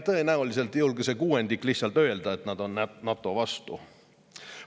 Tõenäoliselt ei julge see kuuendik lihtsalt öelda, et nad on NATO vastu.